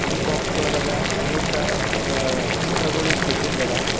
ಈ ಬಾಕ್ಸ್ ಗೋಳದಾಗ ಅನೇಕ ಗ ಚಿತ್ರಗೋಳ ತೆಗೆದಿಂದ ಅದ.